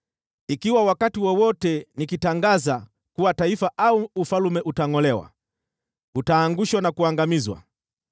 Ikiwa wakati wowote nikitangaza kuwa taifa au ufalme utangʼolewa, utaangushwa na kuangamizwa,